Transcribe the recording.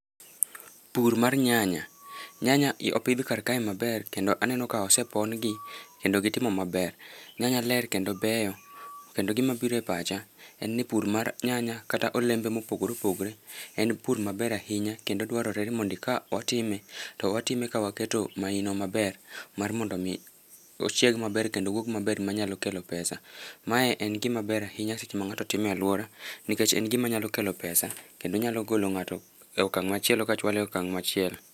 Pur mar nyanya, nyanya opidh kar kae maber kendo aneno ka osepon gi kendo gitimo maber. Nyanya ler kendo gibeyo kendo gima biro e pacha en nipur mar nyanya kendo olembe mopogore opogore en pur maber ahinya kendo dwarore ni mondo ka otime, to watime ka waketo maino maber mar mondo mi ochieg maber kendo owuog maber manya kelo pesa. Mae en gima ber kabisa seche ma ng'ato timo e aluora nikech en gima nyalo kelo pesa kendo nyalo golo ng'ato e okang' machielo ka chwale e okang' machielo